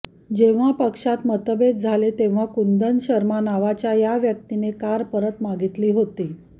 जेव्हा पक्षात मतभेद झाले तेव्हा कुंदन शर्मा नावाच्या या व्यक्तीने कार परत मागितली होती